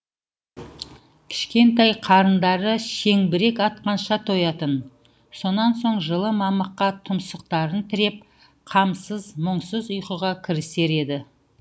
кішкентай қарындары шеңбірек атқанша тоятын сонан соң жылы мамыққа тұмсықтарын тіреп қамсыз мұңсыз ұйқыға кірісер еді